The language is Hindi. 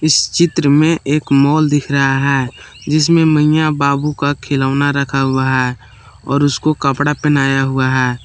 चित्र में एक मॉल दिख रहा है जिसमें मइयां बाबू का खिलौना रखा हुआ है और उसको कपड़ा पहनाया हुआ है।